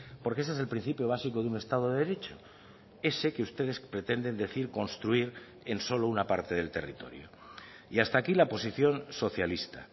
porque ese es el principio básico de un estado de derecho ese que ustedes pretenden decir construir en solo una parte del territorio y hasta aquí la posición socialista